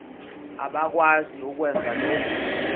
abakwazi ukwenza lokhu